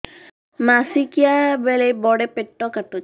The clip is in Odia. ମାସିକିଆ ବେଳେ ବଡେ ପେଟ କାଟୁଚି